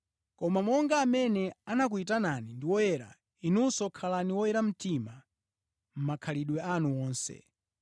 Koma monga amene anakuyitanani ndi woyera, inunso khalani oyera mtima mʼmakhalidwe anu wonse.